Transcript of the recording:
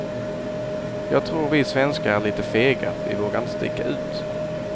Jag tror vi svenskar är lite fega, vi vågar inte sticka ut.